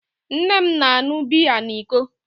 Nne m na-aṅụ biya na iko